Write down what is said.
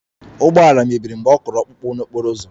Ụgbọala mebiri mgbe ọ kụrụ ọkpụkpụ n'okporo ụzọ